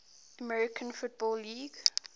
american football league